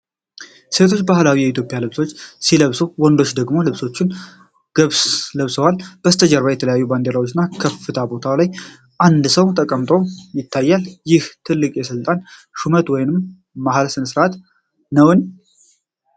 ሴቶቹ ባህላዊ የኢትዮጵያ ልብሶችን ሲለብሱ፣ ወንዶቹ ደግሞ ልብሶችን ለብሰዋል። ከበስተጀርባ የተለያዩ ባንዲራዎች እና በከፍታ ቦታ ላይ አንድ ሰው ተቀምጦ ይታያል። ይህ ትልቅ የስልጣን ሹመት ወይም መሐላ ሥነ-ሥርዓት ነውን?